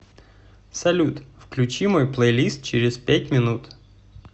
салют включи мой плейлист через пять минут